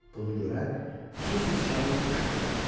Bunu görən su siçanı qışqırdı.